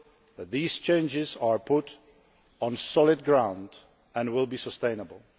that these changes are put on solid ground and will be sustainable.